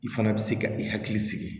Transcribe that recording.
I fana bɛ se ka i hakili sigi